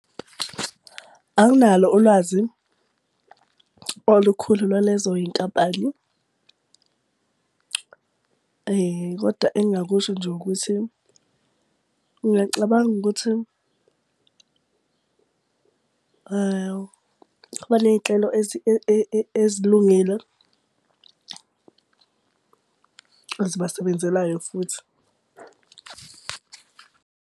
Anginalo ulwazi olukhulu lwalezo y'nkampani, kodwa engingakusho nje ukuthi ngingacabanga ukuthi banezinhlelo ezilungile, ezibasebenzelayo futhi .